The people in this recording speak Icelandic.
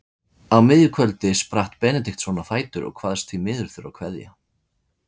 Á miðju kvöldi spratt Benediktsson á fætur og kvaðst því miður þurfa að kveðja.